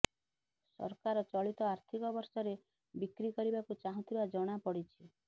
ସରକାର ଚଳିତ ଆର୍ଥିକ ବର୍ଷରେ ବିକ୍ରି କରିବାକୁ ଚାହୁଁଥିବା ଜଣାପଡ଼ିଛି